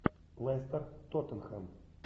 лестер тоттенхэм